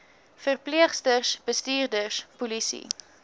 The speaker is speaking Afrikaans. verpleegsters bestuurders polisie